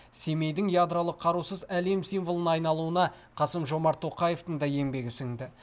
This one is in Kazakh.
семейдің ядролық қарусыз әлем символына айналуына қасым жомарт тоқаевтың да еңбегі сіңді